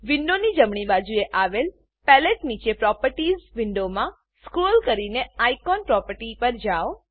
વિન્ડોની જમણી બાજુએ આવેલ પેલેટ નીચે પ્રોપર્ટીઝ પ્રોપર્ટીઝ વિન્ડોમાં સ્ક્રોલ કરીને આઇકોન આઇકોન પ્રોપર્ટી પર જાવ